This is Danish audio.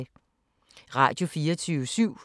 Radio24syv